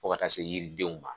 Fo ka taa se yiridenw ma